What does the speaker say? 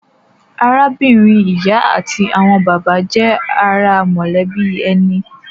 Arábìnrin ìyá àti àwọn bàbá jẹ́ ara mọ̀lẹ́bí ẹni.